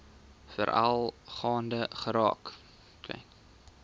veral gaande geraak